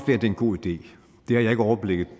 det er en god idé det har jeg ikke overblikket